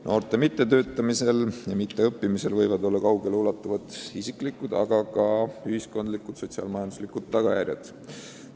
Noorte mittetöötamisel ja mitteõppimisel võivad olla kaugele ulatuvad isiklikud, aga ka ühiskondlikud sotsiaal-majanduslikud tagajärjed.